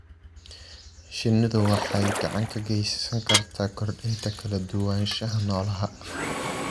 Shinnidu waxay gacan ka geysan kartaa kordhinta kala duwanaanshaha noolaha.